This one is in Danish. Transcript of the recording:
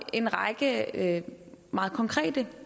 en række meget konkrete